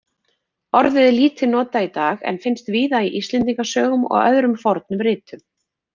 Orðið er lítið notað í dag en finnst víða í Íslendingasögum og öðrum fornum ritum.